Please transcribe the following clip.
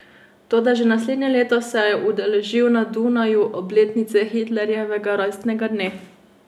Toda že naslednje leto se je udeležil na Dunaju obletnice Hitlerjevega rojstnega dne.